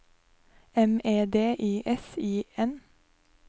M E D I S I N